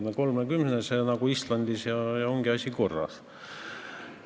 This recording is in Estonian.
Teeme 30-liikmelise parlamendi nagu Islandis, ja ongi asi korras.